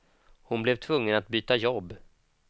Hon blev tvungen att byta jobb.